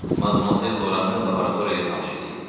Madmazel Loranı laboratoriya ilə tanış eləyin.